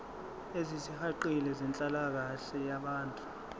ezisihaqile zenhlalakahle yabantu